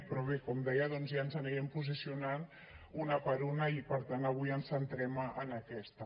però bé com deia doncs ja ens anirem posicionant una per una i per tant avui ens centrem en aquesta